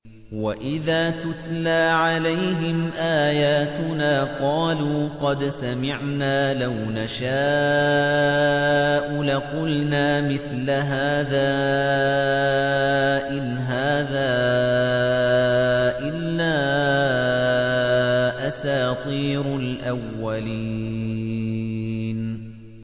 وَإِذَا تُتْلَىٰ عَلَيْهِمْ آيَاتُنَا قَالُوا قَدْ سَمِعْنَا لَوْ نَشَاءُ لَقُلْنَا مِثْلَ هَٰذَا ۙ إِنْ هَٰذَا إِلَّا أَسَاطِيرُ الْأَوَّلِينَ